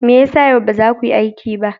Me ya sa yau ba za ku yi aiki ba?